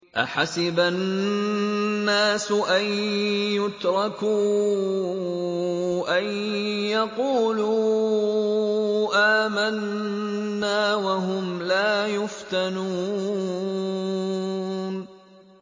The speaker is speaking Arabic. أَحَسِبَ النَّاسُ أَن يُتْرَكُوا أَن يَقُولُوا آمَنَّا وَهُمْ لَا يُفْتَنُونَ